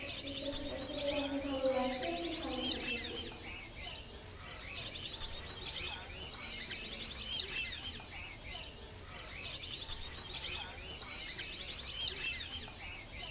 অনেক ভালো লাগছে আপনি ভালো থাকবেন হ্যাঁ?